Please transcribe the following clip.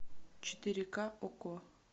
четыре ка окко